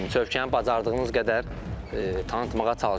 Çövkəni bacardığımız qədər tanıtmağa çalışırıq.